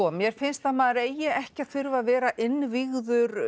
mér finnst að maður eigi ekki að þurfa að vera innvígður